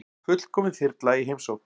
Fullkomin þyrla í heimsókn